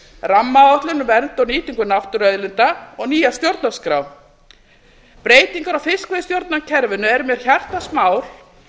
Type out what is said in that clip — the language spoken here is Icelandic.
rammaáætlun um vernd og nýtingu náttúruauðlinda og nýja stjórnarskrá breytingar á fiskveiðistjórnarkerfinu er mér hjartans mál